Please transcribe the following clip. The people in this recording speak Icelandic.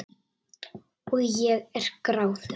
Og ég er gráðug.